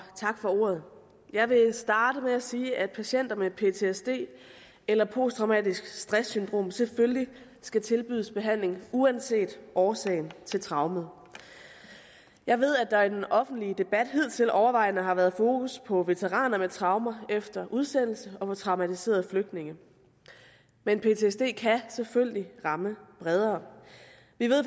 tak for ordet jeg vil starte med at sige at patienter med ptsd eller posttraumatisk stress syndrom selvfølgelig skal tilbydes behandling uanset årsagen til traumet jeg ved at der i den offentlige debat hidtil overvejende har været fokus på veteraner med traumer efter udsendelse og på traumatiserede flygtninge men ptsd kan selvfølgelig ramme bredere vi ved